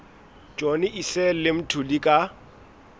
johnny issel le mthuli ka